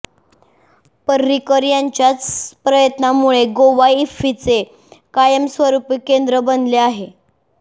पर्रीकर यांच्याच प्रयत्नामुळे गोवा इफ्फीचे कायमस्वरूपी केंद्र बनले आहे